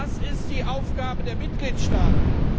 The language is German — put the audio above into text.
Das ist die Aufgabe der Mitgliedstaaten.